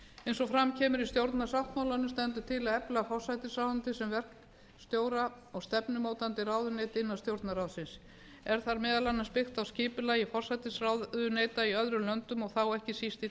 eins og fram kemur í stjórnarsáttmálanum stendur til að efla forsætisráðuneytið sem verkstjóra og stefnumótandi ráðuneyti innan stjórnarráðsins er þar meðal annars byggt á skipulagi forsætisráðuneyta í öðrum löndum og þá ekki síst í